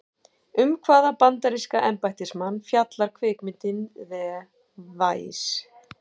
Um hvaða bandaríska embættismann fjallar kvikmyndin The Vice?